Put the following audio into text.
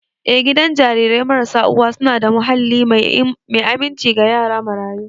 Eh, gidan jarirai marasa uwa suna da muhalli mai aminci ga yara marayu.